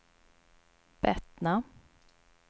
Bettna